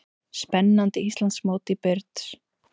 Spennandi Íslandsmót í brids